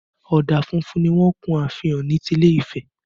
Ọ̀dà funfun ni wọ́n kun ààfin Ọ̀ọ̀ni ti ilé Ifẹ̀